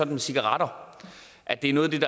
med cigaretter at det er noget